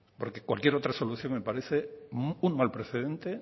porque cualquier otra solución me parece un mal precedente